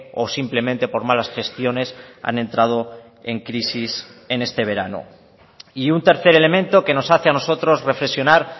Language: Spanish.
o simplemente por malas gestiones han entrado en crisis en este verano y un tercer elemento que nos hace a nosotros reflexionar